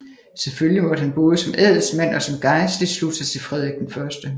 Selvfølgelig måtte han både som adelsmand og som gejstlig slutte sig til Frederik 1